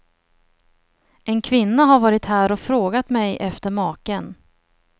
En kvinna har varit här och frågat mig efter maken.